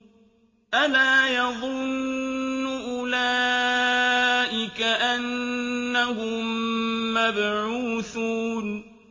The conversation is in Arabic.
أَلَا يَظُنُّ أُولَٰئِكَ أَنَّهُم مَّبْعُوثُونَ